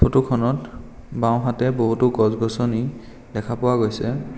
ফোট খনত বাঁওহাতে বহুতো গছ গছনি দেখা পোৱা গৈছে।